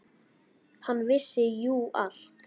Hann vissi jú allt.